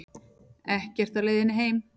Ekkert á leiðinni heim